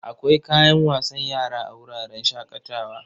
Akwai kayan wasan yara a wuraren shaƙatawa.